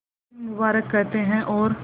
नौशीन मुबारक कहते हैं और